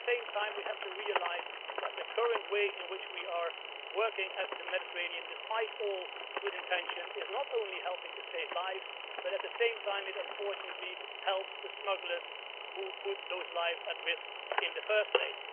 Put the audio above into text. But at the same time we have to realise that the current way in which we are working in the Mediterranean, despite all good intentions, is not only helping to save lives but, at the same time, it unfortunately helps the smugglers who put those lives at risk in the first place.